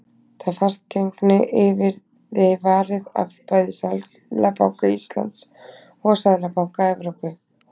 Það fastgengi yrði varið af bæði Seðlabanka Íslands og Seðlabanka Evrópu.